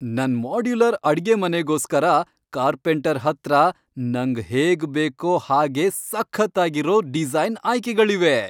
ನನ್ ಮಾಡ್ಯುಲರ್ ಅಡ್ಗೆಮನೆಗೋಸ್ಕರ ಕಾರ್ಪೆಂಟರ್ ಹತ್ರ ನಂಗ್ ಹೇಗ್ ಬೇಕೋ ಹಾಗೇ ಸಖತ್ತಾಗಿರೋ ಡಿಸೈನ್ ಆಯ್ಕೆಗಳಿವೆ.